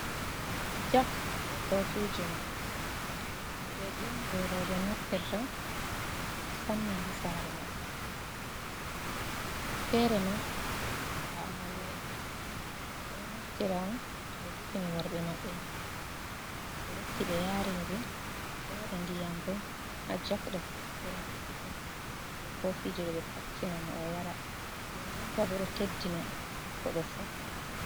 Jok bei kofiji mun kujeji on jei roɓe naftirta musamman ha sare maɓɓe fere ma bana Amariya en ɓeɗo naftira on toh ɓe defini worɓe maɓɓe nyamdu ɓe rotti ɓe yarini ɓe, ɓewaɗa ndiyam bo ha jok ɗo ɓe sigina bei kofiji ɗo ɓe facchina mo O yara, nden nden tabo ɗo teddina koɗo fu.